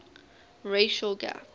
racial gap